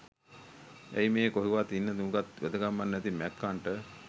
ඇයි මේ කොහෙවත් ඉන්න නූගත් වැදගැම්මක් නැති මැක්කන්ට